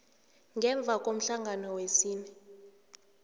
ngemva komhlangano wesine